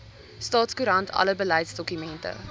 staatskoerant alle beleidsdokumente